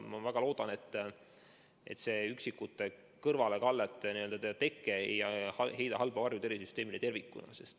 Ma väga loodan, et see üksikute kõrvalekallete teke ei heida halba varju tervishoiusüsteemile tervikuna.